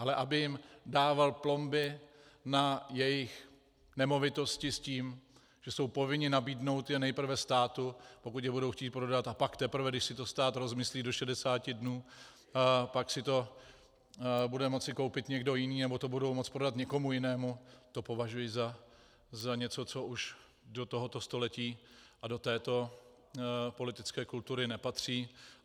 Ale aby jim dával plomby na jejich nemovitosti s tím, že jsou povinni nabídnout je nejprve státu, pokud je budou chtít prodat, a pak teprve když si to stát rozmyslí do 60 dnů, pak si to bude moci koupit někdo jiný nebo to budou moci prodat někomu jinému, to považuji za něco, co už do tohoto století a do této politické kultury nepatří.